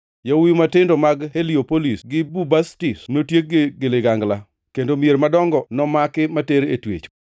Yawuowi matindo mag Heliopolis gi Bubastis notieki gi ligangla, kendo mier madongo nomaki ma ter e twech.